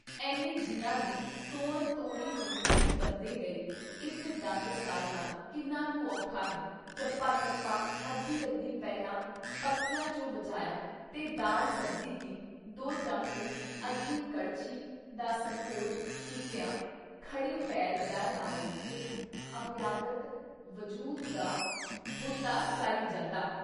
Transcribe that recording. ਐਨੇ ਜੀਆਂ ਦੀ ਤੌਣ ਤੌੜੀ ਚੋਂ ਇੱਕ ਬੰਦੇ ਲਈ ਇੱਕ ਡੰਗ ਸਾਰਨਾ ਕਿੰਨਾ ਕੁ ਔਖਾ ਹੈ-ਚੱਪਾ ਚੱਪਾ ਅੱਧੀ-ਅੱਧੀ ਪਹਿਲਾਂ ਪੱਕੀਆਂ ਚੋਂ ਬਚਾਇਆ ਤੇ ਦਾਲ ਸਬਜ਼ੀ ਦੀ ਦੋ ਚਮਚੇ ਅੱਧੀ ਕੜਛੀ ਦਾ ਸੰਕੋਚ ਕੀਤਿਆਂ, ਖੜ੍ਹੇ ਪੈਰ ਦਰ ਆਏ ਇੱਕ ਅਭਿਆਗਤ ਵਜੂਦ ਦਾ ਬੁੱਤਾ ਸਰ ਈ ਜਾਂਦਾ।